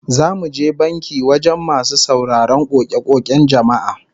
Za mu je banki wajen masu sauraron koke-koken jama'a